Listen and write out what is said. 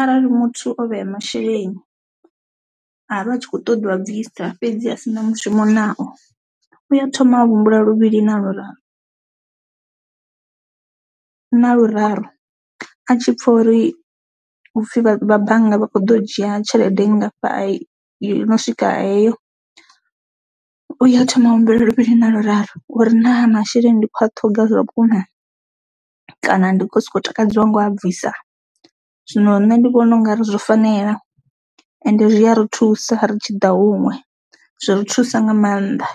arali muthu o vhea masheleni avha a tshi kho ṱoḓa u a bvisa fhedzi a si na mushumo nao uya thoma a humbula luvhili na luraru na luraru a tshi pfha uri hupfhi vha bannga vha kho ḓo dzhia tshelede ngafha a i yo no swika heyo u ya thoma humbula luvhili na luraru uri naa masheleni ndi khou a ṱhoga zwavhukuma kana ndi kho soko takadziwa ngo a bvisa, zwino nṋe ndi vhona u nga ri zwo fanela ende zwi a ri thusa ri tshi ḓa huṅwe zwi ri thusa nga maanḓa.